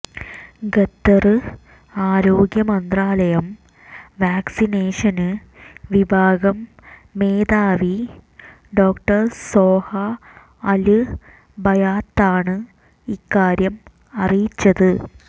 ഖത്തര് ആരോഗ്യ മന്ത്രാലയം വാക്സിനേഷന് വിഭാഗം മേധാവി ഡോ സോഹ അല് ബയാത്താണ് ഇക്കാര്യം അറിയിച്ചത്